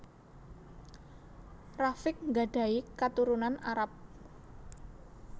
Rafiq nggadhahi katurunan Arab